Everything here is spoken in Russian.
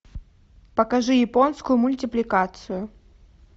покажи японскую мультипликацию